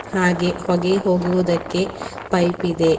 ಹಾಗೆ ಹೊಗೆ ಹೋಗುವುದಕ್ಕೆ ಪೈಪ್ ಇದೆ.